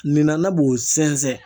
Ninanan b'o sɛnsɛn.